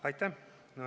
Aitäh!